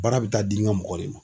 Baara bɛ taa di n ka mɔgɔ de ma.